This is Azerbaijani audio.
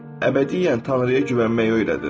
əbədiyyən Tanrıya güvənməyi öyrədir.